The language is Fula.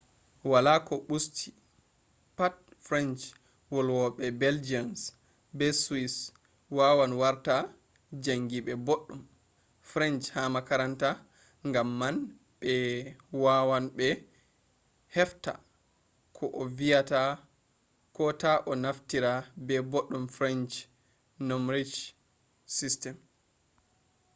wala koh busti pat french- volwobe belgians be swiss wawan warta jangibe boddum french ha makaranta gam man be wawab be hefta koh a viyata kota a naftiri be boddum french numberji system